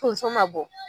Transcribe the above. Tonso ma bɔ